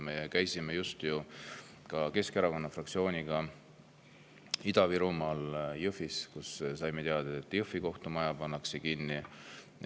Me käisime Keskerakonna fraktsiooniga just Ida-Virumaal Jõhvis, kus saime teada, et Jõhvi kohtumaja pannakse kinni.